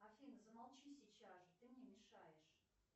афина замолчи сейчас же ты мне мешаешь